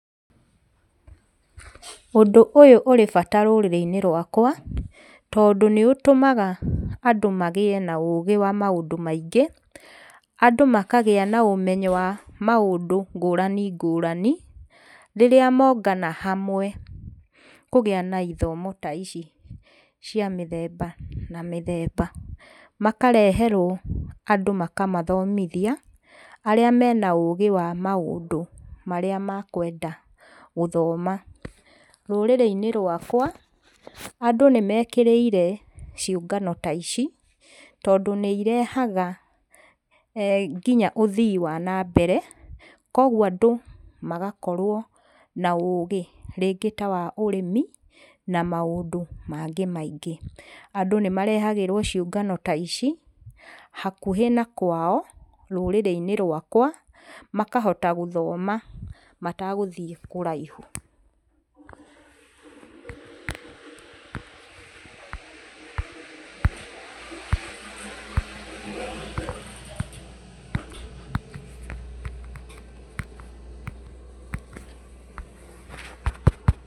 Ũndũ ũyũ ũrĩ bata rũrĩrĩ-inĩ rũakwa, tondũ nĩũtũmaga andũ magĩe na ũgĩ wa maũndũ maingĩ, andũ makagĩa na ũmenyo wa maũndũ ngũrani ngũrani, rĩrĩa mongana hamwe kũgĩa na ithomo ta ici cia mĩtemba na mĩthemba. Makareherũo andũ makamathomthia arĩa mena ũgĩ wa maũndũ marĩa makũenda gũthoma. Rũrĩrĩ-inĩ rũakwa andũ nĩmekĩrĩire ciũngano ta ici, tondũ nĩirehaga ngina eh ũthii wa nambere. Kũogũo andũ magakorwo na ũgĩ, rĩngĩ ta wa ũrĩmi na maũndũ mangĩ maingĩ. Andũ nĩmarĩhagĩrũo ciũngano ta ici, hakũhĩ na kwao rũrĩrĩ-inĩ rũakwa, makahota gũthoma matagũthiĩ kũraihũ.